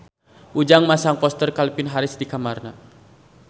Ujang masang poster Calvin Harris di kamarna